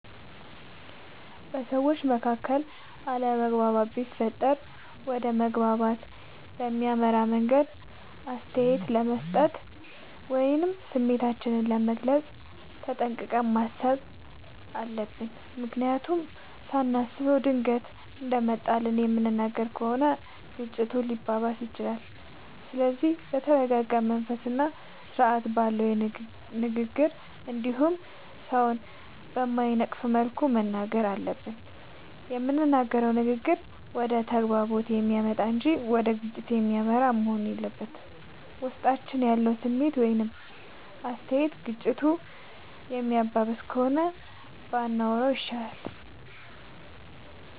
በሠዎች መካከል አለመግባባት ቢፈጠር ወደ መግባባት በሚያመራ መንገድ አስተያየት ለመስጠት ወይም ስሜታችንን ለመግለፅ ተጠንቅቀን ማሠብ አለብ። ምክንያቱም ሳናስበው ድንገት እንደመጣልን የምንናገር ከሆነ ግጭቱ ሊባባስም ይችላል። ስለዚህ በተረረጋ መንፈስና ስርአት ባለው ንግግር እንዲሁም ሠውን በማይነቅፍ መልኩ መናገር አለብን። የምንናገረውም ንግግር ወደ መግባባት የሚያመጣ እንጂ ወደ ግጭት የሚመራ መሆን የለበትም። ውስጣችን ያለው ስሜት ወይም አስተያየት ግጭቱን የሚያባብስ ከሆነ ባንናገረው ይሻላል።